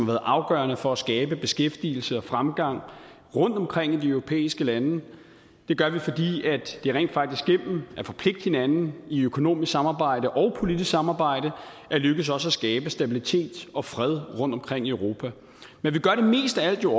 været afgørende for at skabe beskæftigelse og fremgang rundtomkring i de europæiske lande det gør vi fordi det rent faktisk igennem at forpligte hinanden i økonomisk samarbejde og politisk samarbejde er lykkedes os at skabe stabilitet og fred rundtomkring i europa men vi gør det mest af alt jo